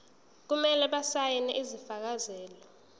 kumele basayine isifakazelo